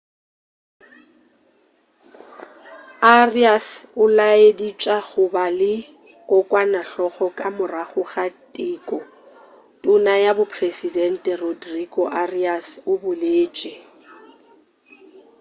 arias o laeditša go ba le kokwanahloko ka morago ga teko tona ya bo presedente rodrigo arias o boletše